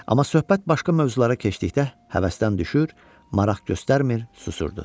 Amma söhbət başqa mövzulara keçdikdə həvəsdən düşür, maraq göstərmir, susurdu.